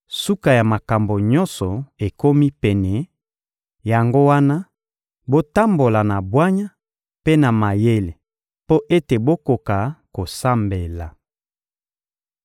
Suka ya makambo nyonso ekomi pene; yango wana, botambola na bwanya mpe na mayele mpo ete bokoka kosambela.